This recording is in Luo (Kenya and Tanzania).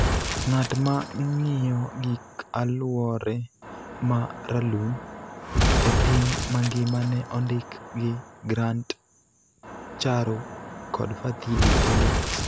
ng�at ma ng�iyo gik aluore ma ralum e piny mangima ne ondik gi Grant Charo kod Fadhili Williams.